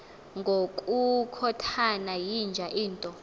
ngokukhothana yinja into